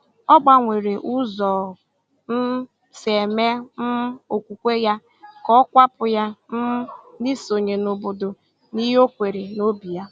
Ọ gbanwere ụzọ o um si eme um okwukwe ya ka ọ kwàpụ̀ ya um na isonye n’obodo na ihe ọ kweere n’obí ya.